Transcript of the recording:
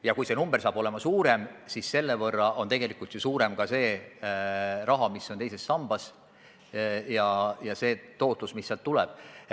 Ja kui see number saab olema suurem, siis selle võrra on ju suurem ka summa, mis on teises sambas, ja see tootlus, mis sealt tuleb.